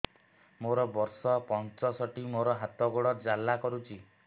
ମୋର ବର୍ଷ ପଞ୍ଚଷଠି ମୋର ହାତ ଗୋଡ଼ ଜାଲା କରୁଛି